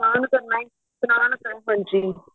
ਹਾਂਜੀ